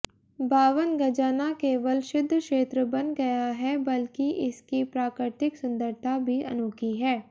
बावनगजा न केवल सिद्धक्षेत्र बन गया है बल्कि इसकी प्राकृतिक सुंदरता भी अनोखी है